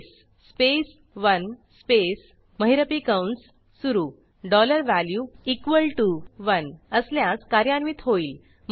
केस space 1 space महिरपी कंस सुरू डॉलर वॅल्यू इक्वॉल टीओ 1 असल्यास कार्यान्वित होईल